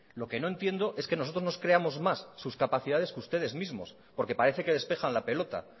lo que no entiendo es que nosotros nos creamos más sus capacidades que ustedes mismos porque parece que despejan la pelota